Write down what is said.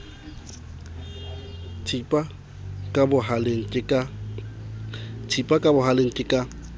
thipa ka bohaleng ke ka